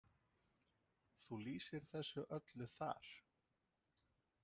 Þú lýsir þessu öllu þar?